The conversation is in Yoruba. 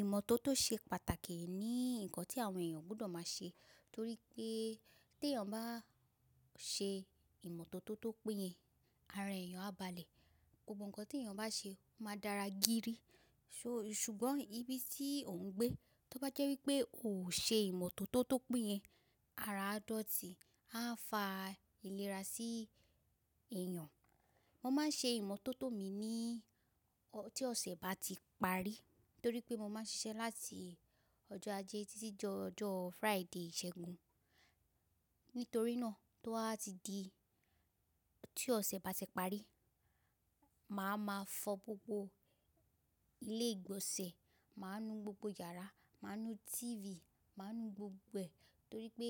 Ìmọ́tótó ṣe pàtàkì ní nǹkan tí àwọn èèyàn gbọ́dọ̀ máa ṣe torí pé tí èèyàn bá ṣe ìmọ́tótó tó péye, ara èèyàn á balẹ̀. Gbogbo nkan tí èèyàn bá ṣe máa dára gírí. Ṣùgbọ́n ibi tí ò ń gbé, tó bá jẹ́ wípé ò ṣe ìmọ́tótó tó péye, ara dótì á fa ìlera sí èèyàn. Mo máa ń ṣe ìmọ́tótó mi ní tí ọ̀sẹ̀ bá ti parí torí pé mo máa ń ṣiṣẹ́ láti ọjọ́ Ajé títí jọ ọjọ́ Friday ìṣẹ́gun. Nítorí náà tó a ti di tí ọ̀sẹ̀ bá ti parí, màá ma fọ gbogbo ilé ìgbọ̀nsẹ̀, màá nu gbogbo yàrá, màá nu TV, màá nu gbogbo ẹ̀ torí pé